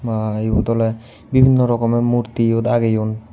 Ba yot ole bibinno rokome murti yot ageyon.